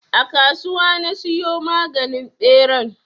A kasuwa na siyo maganin ɓeran.